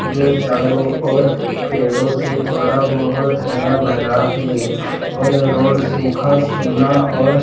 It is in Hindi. जो चारों और पेड़ों से थोड़ा बहुत हरा भरा है और रोड सुखा सूना और--